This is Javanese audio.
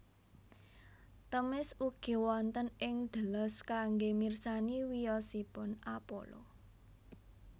Themis ugi wonten ing Delos kanggé mirsani wiyosipun Apollo